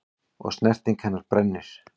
Og snerting hennar brennir.